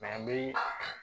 n bɛ